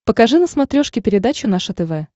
покажи на смотрешке передачу наше тв